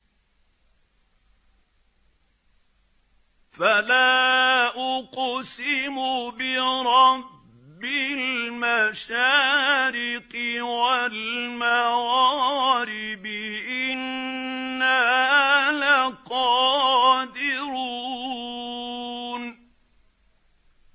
فَلَا أُقْسِمُ بِرَبِّ الْمَشَارِقِ وَالْمَغَارِبِ إِنَّا لَقَادِرُونَ